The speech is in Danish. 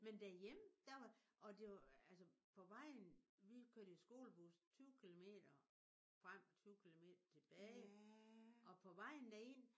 Men derhjemme der var og det var altså på vejen vi kørte i skolebus 20 kilometer frem og 20 kilometer tilbage og på vejen derind